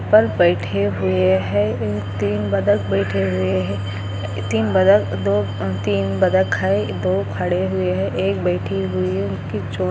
पोल पे बैठे हुए है तीन बत्तख बैठे हुए है तीन बत्तख दो तीन बत्तख है दो खड़े हुए है एक बैठी हुई है उनकी चोंच